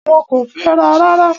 Wọ́n kò fẹ́ra rárá.